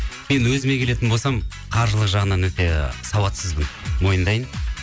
енді өзіме келетін болсам қаржылық жағынан өте сауатсызбын мойындайын